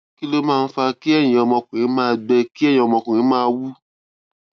kí ló máa ń fa kí ẹyin ọmọkùnrin máa gbẹ kí ẹyin ọmọkùnrin máa wú